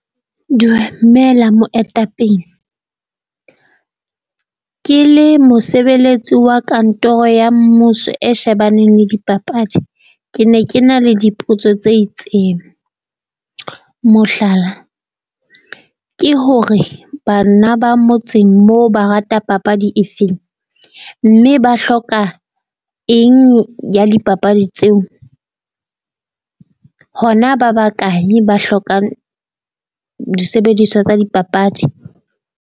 Dumela moetapele, ke le mosebeletsi wa kantoro ya mmuso e shebaneng le dipapadi. Ke ne ke na le dipotso tse itseng. Mohlala, ke hore bana ba motseng moo ba rata papadi efeng? Mme ba hloka eng ya dipapadi tseo? Hona ba bakae ba hlokang disebediswa tsa dipapadi?